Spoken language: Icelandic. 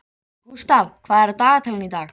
Gústav, hvað er á dagatalinu í dag?